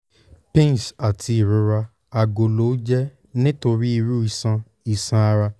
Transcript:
pins ati irora agolo o jẹ nitori iru iṣan iṣan ara